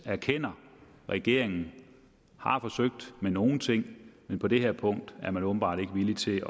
erkender at regeringen har forsøgt med nogle ting men på det her punkt er man åbenbart ikke villig til